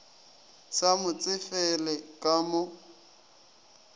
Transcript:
sa mo tsefele ka mo